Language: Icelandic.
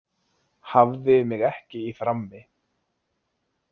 Hafði mig ekki í frammi.